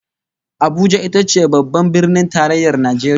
Abuja ita ce Babban Birnin Tarayyar Najeriya